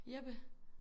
Jeppe